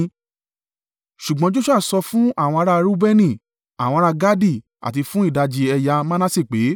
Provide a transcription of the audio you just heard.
Ṣùgbọ́n Joṣua sọ fún àwọn ará a Reubeni, àwọn ará Gadi àti fún ìdajì ẹ̀yà Manase pé,